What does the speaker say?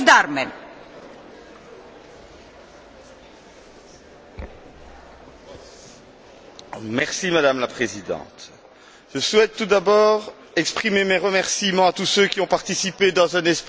Madame la Présidente, je souhaite tout d'abord exprimer mes remerciements à tous ceux qui ont participé dans un esprit constructif à l'élaboration de ce rapport mes collègues, associations représentatives et aussi collaborateurs.